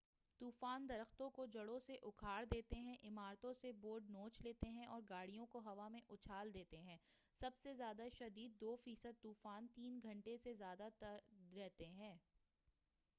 طُوفان درختوں کو جڑوں سے اُکھاڑ دیتے ہیں عمارتوں سے بورڈز نوچ لیتے ہیں اور گاڑیوں کو ہوا میں اُچھال دیتے ہیں سب سے زیادہ شدید دو فیصد طُوفان تین گھنٹے سے زیادہ تک رہتے ہیں